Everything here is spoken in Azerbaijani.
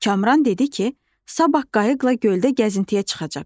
Kamran dedi ki, sabah qayıqla göldə gəzintiyə çıxacaq.